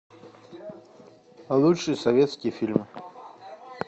лучшие советские фильмы